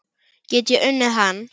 Get ég unnið hann?